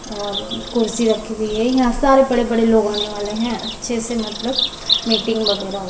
'' और कुर्सी रखी हुई हैं'''' यहा सारे बड़े-बड़े लोग आने वाले हैं अच्छे से मतलब मीटिंग वगेरह --''